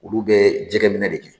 Olu bɛ jɛgɛ minɛ de kɛ